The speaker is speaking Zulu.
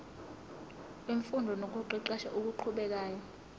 wemfundo nokuqeqesha okuqhubekayo